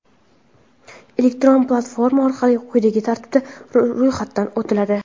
Elektron platforma orqali quyidagi tartibda ro‘yxatdan o‘tiladi:.